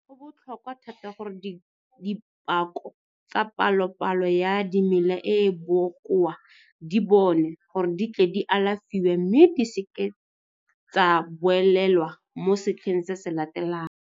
Go botlhokwa thata gore dibako tsa palopalo ya dimela e e bokoa di bonwe gore di tle di alafiwe mme di se ke tsa boelelwa mo setlheng se se latelang.